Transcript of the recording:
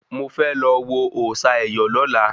Mo fẹ́ lọ wo òòsà ẹ̀yọ̀ lọ́la